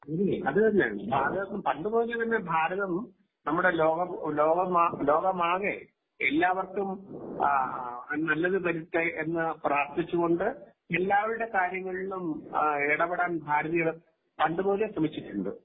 അതുതന്നെ ഭാരതം പണ്ടുമുതലേതന്നെ ഭാരതം നമ്മുടെ ലോകം ലോകമാകെ എല്ലാവർക്കും നല്ലത് വരുത്തി എന്ന് പ്രാർത്ഥിച്ചുകൊണ്ട് എല്ലാവരുടെ കാര്യങ്ങളിലും ഇടപെടാൻ ഭാരതീയർ പണ്ടുമുതലേ ശ്രമിച്ചിട്ട് ഉണ്ട് .